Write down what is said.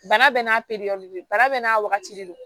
Bana bɛɛ n'a peri bana bɛɛ n'a wagati de don